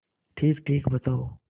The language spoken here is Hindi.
ठीकठीक बताओ